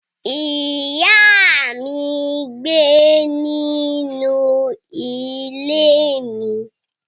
Iya mi ngbe ninu ile mi